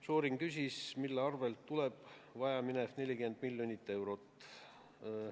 Šorin küsis, mille arvel vajaminev 40 miljonit eurot tuleks.